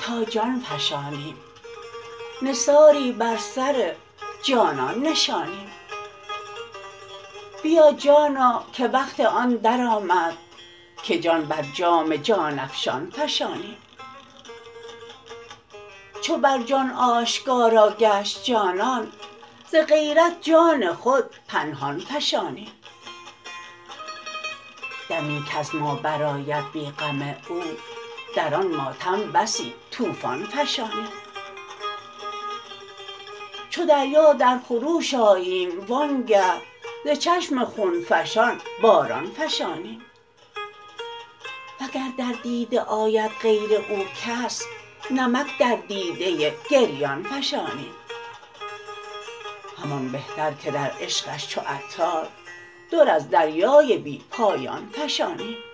تا جان فشانیم نثاری بر سر جانان نشانیم بیا جانا که وقت آن درآمد که جان بر جام جان افشان فشانیم چو بر جان آشکارا گشت جانان ز غیرت جان خود پنهان فشانیم دمی کز ما برآید بی غم او در آن ماتم بسی طوفان فشانیم چو دریا در خروش آییم وانگه ز چشم خون فشان باران فشانیم وگر در دیده آید غیر او کس نمک در دیده گریان فشانیم همان بهتر که در عشقش چو عطار در از دریای بی پایان فشانیم